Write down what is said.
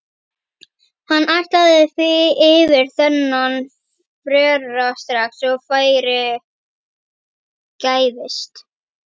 Hann ætlaði yfir þennan frera strax og færi gæfist.